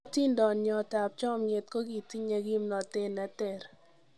Otindonyiot ab chomiiet kogitinye gimnotet neter.